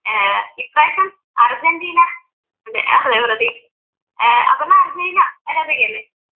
ഏർ ഇപ്പ്രാവശ്യം അർജൻറ്റീനാ ഏർ അപർണ്ണ അർജൻറ്റീന ആരാധികയല്ലേ?